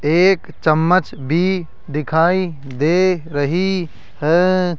एक चम्मच बी दिखाई दे रही है।